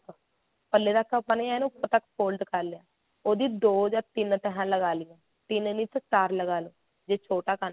ਪੱਲੇ ਤੱਕ ਆਪਾਂ ਨੇ ਏਨ ਉਪਰ ਤੱਕ fold ਕਰ ਲੈਣਾ ਉਹਦੀ ਦੋ ਜਾਂ ਤਿੰਨ ਤਿਹਾਂ ਲਗਾ ਲਾਈਆ ਤਿੰਨ ਨਹੀਂ ਤਾ ਚਾਰ ਲਗਾ ਦੋ ਜੇ ਛੋਟਾ ਕੱਦ ਆ